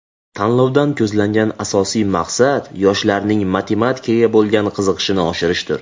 Tanlovdan ko‘zlangan asosiy maqsad yoshlarning matematikaga bo‘lgan qiziqishini oshirishdir.